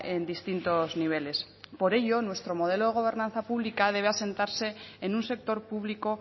en distintos niveles por ello nuestro modelo de gobernanza pública debe asentarse en un sector público